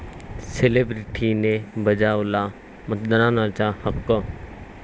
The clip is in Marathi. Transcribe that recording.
सेलेब्रिटींनी बजावला मतदानाचा हक्क